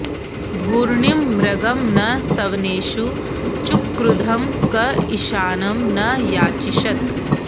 भूर्णिं॑ मृ॒गं न सव॑नेषु चुक्रुधं॒ क ईशा॑नं॒ न या॑चिषत्